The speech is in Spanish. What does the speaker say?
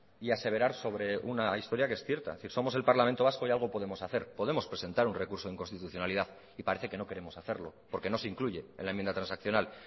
y aseverar sobre una historia que es cierta es decir somos el parlamento vasco y algo podemos hacer podemos presentar un recurso de inconstitucionalidad y parece que no queremos hacerlo porque no se incluye en la enmienda transaccional